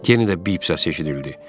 Yenidə bip səsi eşidildi.